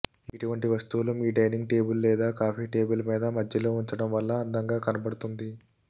ఇటువంటి వస్తువులు మీ డైనింగ్ టేబుల్ లేదా కాఫీ టేబుల్ మీద మధ్యలో ఉంచడం వల్ల అందంగా కనబడుతుంది